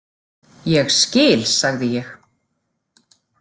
Ég skil, sagði ég.